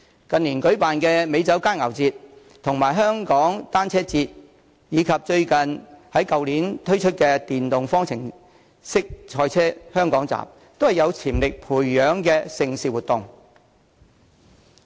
近年舉辦的美酒佳餚節、香港單車節，以及去年推出的電動方程式賽車香港站，都是有發展潛力的盛事活動。